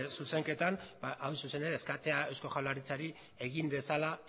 zuzenketan hain zuzen ere eskatzea eusko jaurlaritzari egin dezala